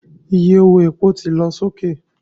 Iye owó epo ti lọ sókè